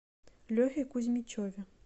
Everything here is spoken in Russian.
лехе кузьмичеве